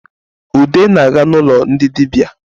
Ude na-aga n’ụlọ ndị dịbia